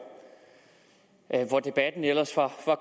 debatten ellers var